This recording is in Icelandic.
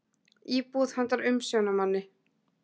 Íbúð handa umsjónarmanni.